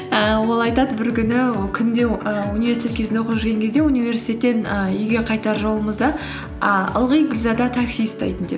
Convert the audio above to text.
ііі ол айтады бір күні ол күнде і о университет кезінде оқып жүрген кезде университеттен і үйге қайтар жолымызда і ылғи гүлзада такси ұстайтын деп